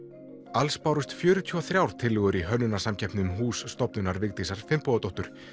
alls bárust fjörutíu og þrjár tillögur í hönnunarsamkeppni um hús stofnunar Vigdísar Finnbogadóttur